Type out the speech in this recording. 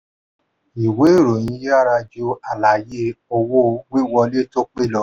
ìwé ìròyìn yára ju àlàyé owó-wíwọlé tó pé lọ.